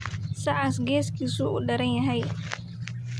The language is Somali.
Sacas geeskisa uu deryahy.